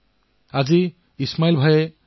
তেওঁ ড্ৰিপৰে জলসিঞ্চন কৰি আলু খেতি আৰম্ভ কৰিলে